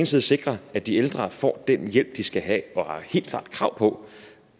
side sikre at de ældre får den hjælp de skal have og helt klart har krav på